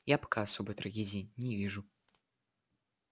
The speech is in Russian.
я пока особой трагедии не вижу